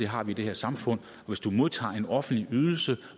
har vi i det her samfund og hvis du modtager en offentlig ydelse